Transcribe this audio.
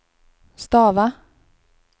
stava